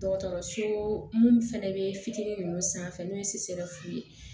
Dɔgɔtɔrɔso mun fɛnɛ be fitinin nunnu sanfɛ n'o ye ye